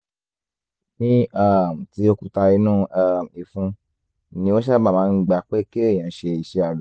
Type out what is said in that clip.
ní um ti òkúta inú um ìfun ni ó sábà máa ń gba pé kéèyàn ṣe iṣẹ́ abẹ